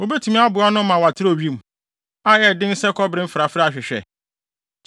wubetumi aboa no ama watrɛw wim, a ɛyɛ den sɛ kɔbere mfrafrae ahwehwɛ?